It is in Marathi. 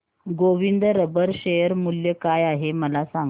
गोविंद रबर शेअर मूल्य काय आहे मला सांगा